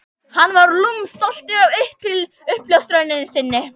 Hann var lúmskt stoltur af uppljóstrun sinni.